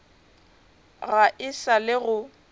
ga e sa le go